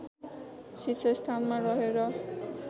शीर्षस्थानमा रहे र